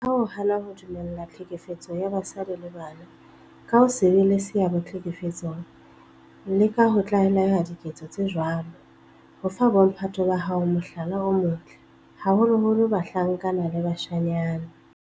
Ka ho hana ho dumella tlhekefetso ya basadi le bana, ka ho se be le seabo tlhekefetsong le ka ho tlaleha diketso tse jwalo, o fa bo mphato ba hao mohlala o motle, haholoholo bahlankana le bashanyana.